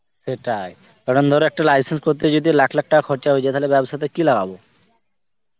সেটাই. কারণ ধরো একটা licence করতে যদি লাখ লাখ টাকা খরচা হয়ে যায় তাহলে ব্যবসাতে কি লাগাবো?